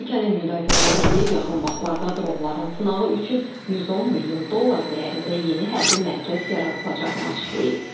Ölkənin Müdafiə Nazirliyi yaxın vaxtlarda dronların sınağı üçün 110 milyon dollar dəyərində yeni hərbi mərkəz yaradılacağını açıqlayıb.